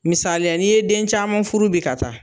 Misaliya n'i ye den caman furu bi ka taa